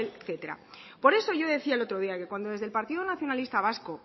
apoel etcétera por eso yo decía el otro día que cuando desde el partido nacionalista vasco